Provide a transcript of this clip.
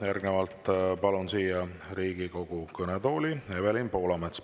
Järgnevalt palun siia Riigikogu kõnetooli Evelin Poolametsa.